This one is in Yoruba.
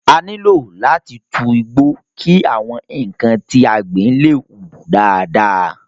A nílò láti tu igbo ki àwọn nnkan tí a gbìn le hu dáadáa.